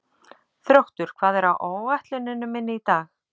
Þróttur, hvað er á áætluninni minni í dag?